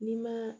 N'i ma